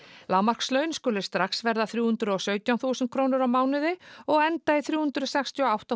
lágmarkslaun skulu strax verða þrjú hundruð og sautján þúsund krónur á mánuði og enda í þrjú hundruð sextíu og átta